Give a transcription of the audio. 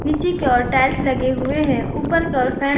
की ओर टाइल्स लगे हुए हैं ऊपर की ओर फैन --